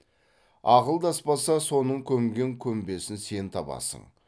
ақылдаспаса соның көмген көмбесін сен табасың